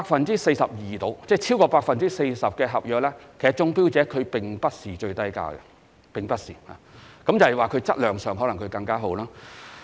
當中有大約 42% 合約的中標者，其投標價並非最低，而是因為其質量較好。